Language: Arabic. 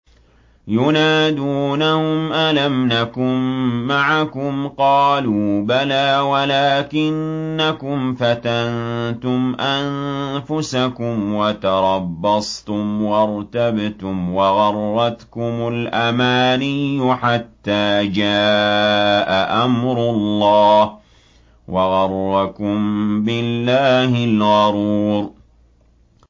يُنَادُونَهُمْ أَلَمْ نَكُن مَّعَكُمْ ۖ قَالُوا بَلَىٰ وَلَٰكِنَّكُمْ فَتَنتُمْ أَنفُسَكُمْ وَتَرَبَّصْتُمْ وَارْتَبْتُمْ وَغَرَّتْكُمُ الْأَمَانِيُّ حَتَّىٰ جَاءَ أَمْرُ اللَّهِ وَغَرَّكُم بِاللَّهِ الْغَرُورُ